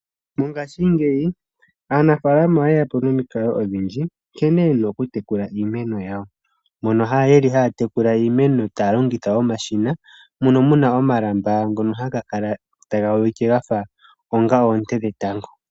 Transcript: Mongaashingeyi aanafaalama oye ya po nomikalo odhindji nkene yena okutekula iimeno yawo. Mono yeli haa tekula iimeno taa longitha omashina mono muna omalamba ngono haga kala taga ulike gafa onga oonte dhetango.